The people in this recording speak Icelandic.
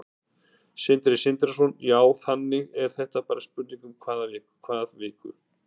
Sindri Sindrason: Já, þannig að þetta er bara spurning um hvað viku?